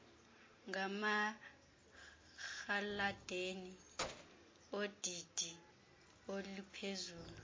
ngamarhaladeni odidi oluphezulu